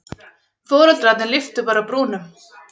Foreldrarnir lyftu bara brúnum.